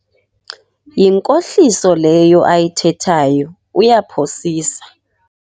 Yinkohliso leyo ayithethayo, uyaphosisa.